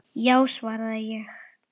Já, svaraði ég.